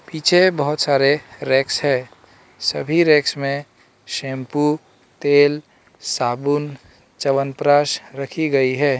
पीछे बहोत सारे रेक्स है सभी रेक्स में शैंपू तेल साबुन च्यवनप्राश रखी गई है।